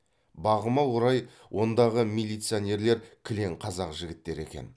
бағыма орай ондағы милициянерлер кілең қазақ жігіттері екен